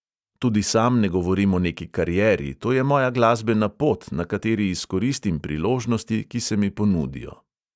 Tudi sam ne govorim o neki karieri, to je moja glasbena pot, na kateri izkoristim priložnosti, ki se mi ponudijo.